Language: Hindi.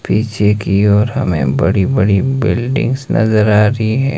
पीछे की ओर हमें बड़ी बड़ी बिल्डिंग्स नजर आ रही है।